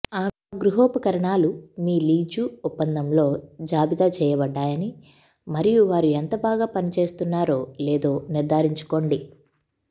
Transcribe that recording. ఆ గృహోపకరణాలు మీ లీజు ఒప్పందంలో జాబితా చేయబడ్డాయని మరియు వారు ఎంత బాగా పని చేస్తున్నారో లేదో నిర్ధారించుకోండి